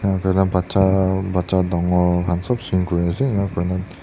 kurina bacha bacha dangor khan sop swing kuriase enika kurina--